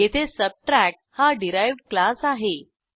येथे सबट्रॅक्ट हा derived class आहे